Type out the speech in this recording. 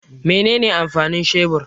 Mene ne amfanin shebur?